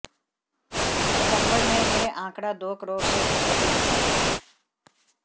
सितंबर में यह आंकड़ा दो करोड़ से कुछ अधिक था